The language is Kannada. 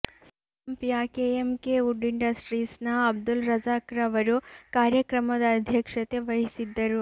ಸಂಪ್ಯ ಕೆಎಂಕೆ ವುಡ್ ಇಂಡಸ್ಟ್ರೀಸ್ನ ಅಬ್ದುಲ್ ರಝಾಕ್ರವರು ಕಾರ್ಯಕ್ರಮದ ಅಧ್ಯಕ್ಷತೆ ವಹಿಸಿದ್ದರು